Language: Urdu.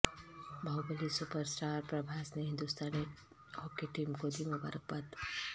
باہوبلی سپر اسٹار پربھاس نے ہندوستانی ہاکی ٹیم کو دی مبارکباد